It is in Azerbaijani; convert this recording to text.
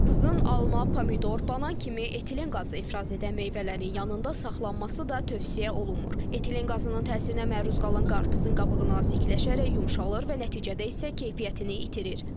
Qarpızın alma, pomidor, banan kimi etilen qazı ifraz edən meyvələrin yanında saxlanması da tövsiyə olunmur, etilen qazının təsirinə məruz qalan qarpızın qabığı nazikləşərək yumşalır və nəticədə isə keyfiyyətini itirir.